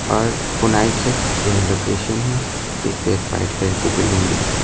और पुनाई चेक यह लोकेशन है इस पे एक वाइट कलर की बिल्डिंग भी दिख रही है।